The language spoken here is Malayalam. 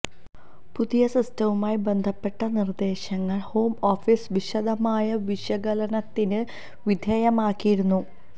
പുതിയ സിസ്റ്റവുമായി ബന്ധപ്പെട്ട നിര്ദേശങ്ങള് ഹോം ഓഫീസ് വിശദമായ വിശകലനത്തിന് വിധേയമാക്കിയിരുന്നു